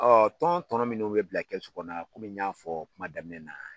tɔn kɔnɔ minnuw bɛ bila kɛsu kɔnɔna kɔmi n y'a fɔ kuma daminɛ na,